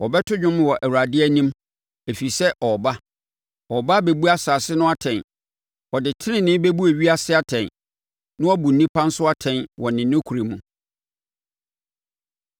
wɔbɛto dwom wɔ Awurade anim, ɛfiri sɛ ɔreba, ɔreba abɛbu asase no atɛn. Ɔde tenenee bɛbu ewiase atɛn na woabu nnipa nso atɛn wɔ ne nokorɛ mu.